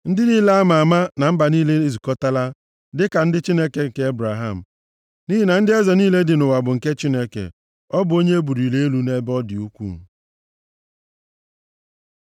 Ndị niile a ma ama na mba niile ezukọtaala, dịka ndị Chineke nke Ebraham, nʼihi na ndị eze + 47:9 Maọbụ, ọta niile dị nʼụwa bụ nke Chineke; ọ bụ onye e buliri elu nʼebe ọ dị ukwuu.